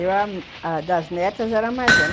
Eu, das netas, era mais velha.